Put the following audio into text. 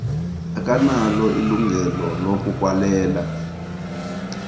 akanalo ilungelo lokukwalela